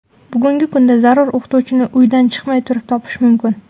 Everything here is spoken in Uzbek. Bugungi kunda zarur o‘qituvchini uydan chiqmay turib topish mumkin.